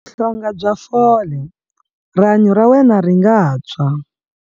Vuhlonga bya fole- Rihanyu ra wena ri nga tshwa.